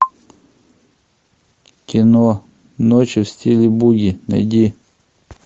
кино ночи в стиле буги найди